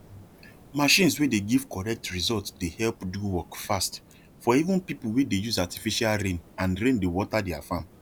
machines wey dey give correct result dey help do work fast for even people wey dey use artifical rain and rain dey water their farm